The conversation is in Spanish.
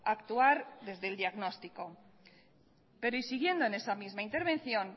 actuar desde el diagnóstico pero siguiendo en esa misma intervención